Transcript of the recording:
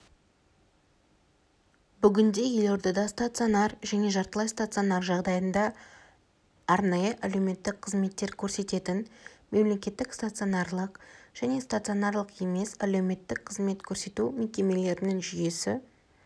бүгінде елордада стационар және жартылай стационар жағдайында арнайы әлеуметтік қызметтер көрсететін мемлекеттік стационарлық және стационарлық емес әлеуметтік қызмет көрсету мекемелерінің жүйесі